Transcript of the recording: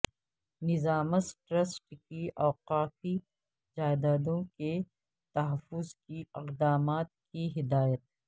نظامس trust کی اوقافی جائیدادوں کے تحفظ کے اقدامات کی ہدایت